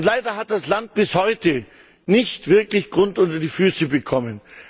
Leider hat das Land bis heute nicht wirklich Grund unter die Füße bekommen.